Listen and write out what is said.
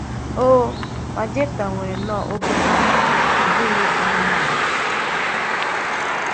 um Má Jéftà nwèrè n’òbì mmádụ̀, ọ̀ bụghị̀ anụ́mánụ̀.